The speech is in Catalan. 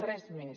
res més